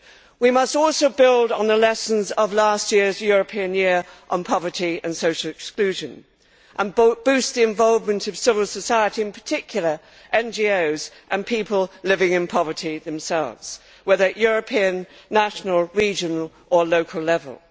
We must also build on the lessons of last year's European Year for Combating Poverty and Social Exclusion and boost the involvement of civil society, in particular NGOs and people living in poverty themselves, whether at European, national, regional or local level.